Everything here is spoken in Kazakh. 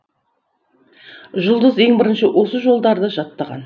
жұлдыз ең бірінші осы жолдарды жаттаған